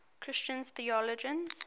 christian theologians